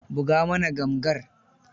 Buga mana gamgar.